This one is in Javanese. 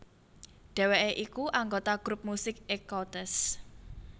Dheweké iku anggota grup musik Ecoutez